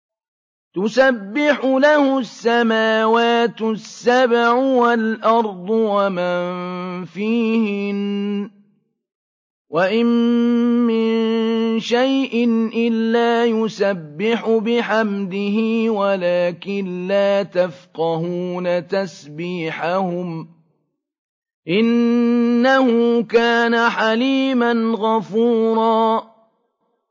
تُسَبِّحُ لَهُ السَّمَاوَاتُ السَّبْعُ وَالْأَرْضُ وَمَن فِيهِنَّ ۚ وَإِن مِّن شَيْءٍ إِلَّا يُسَبِّحُ بِحَمْدِهِ وَلَٰكِن لَّا تَفْقَهُونَ تَسْبِيحَهُمْ ۗ إِنَّهُ كَانَ حَلِيمًا غَفُورًا